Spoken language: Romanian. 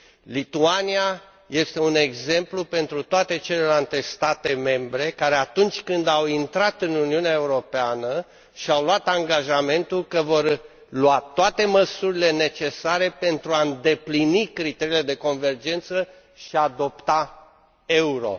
Lituania este un exemplu pentru toate celelalte state membre care, atunci când au intrat în Uniunea Europeană, și au luat angajamentul că vor lua toate măsurile necesare pentru a îndeplini criteriile de convergență și a adopta euro.